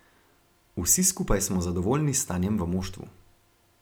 Vsi skupaj smo zadovoljni s stanjem v moštvu.